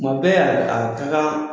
Maaw bɛ a ka kan